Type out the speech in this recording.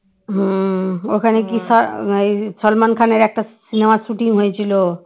সালমান খানের একটা cinema র shooting হয়েছিল